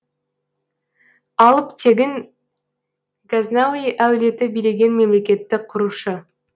алып тегін газнауи әулеті билеген мемлекетті құрушы